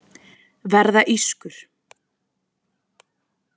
Verða ískur.